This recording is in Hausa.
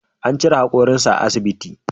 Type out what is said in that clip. An cire hakorinsa a asbiti.